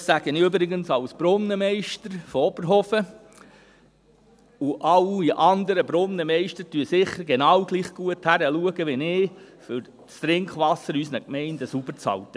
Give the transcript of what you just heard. Das sage ich übrigens als Brunnenmeister von Oberhofen, und alle anderen Brunnenmeister schauen sicher genau gleich gut hin wie ich, um das Trinkwasser in unseren Gemeinden sauber zu halten.